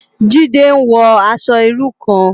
Jide n wò aṣò irú kán